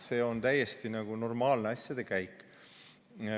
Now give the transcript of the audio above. See on täiesti normaalne asjade käik.